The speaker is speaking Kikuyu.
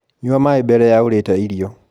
Nyua maĩ mbere ya urite irio